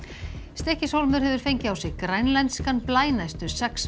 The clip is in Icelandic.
Stykkishólmur hefur fengið á sig grænlenskan blæ næstu sex